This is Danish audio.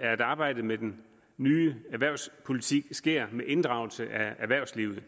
at arbejdet med den nye erhvervspolitik sker med inddragelse af erhvervslivet